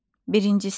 Birinci sinif.